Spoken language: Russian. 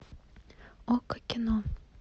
окко кино